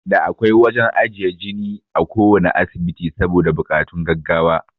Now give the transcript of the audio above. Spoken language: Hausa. Da akwai wajan ajiye jine a kuwanna asibiti saboda bokatun gaggawa